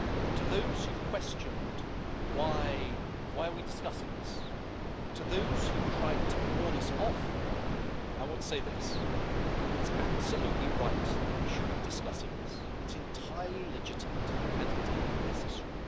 To those who have questioned why we are discussing this, and to those who have tried to warn us off, I want to say this it's absolutely right that we should be discussing this. It's entirely legitimate, and indeed necessary.